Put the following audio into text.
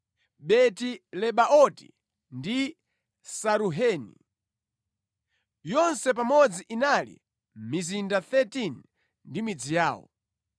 Beti-Lebaoti ndi Saruheni. Yonse pamodzi inali mizinda 13 ndi midzi yawo.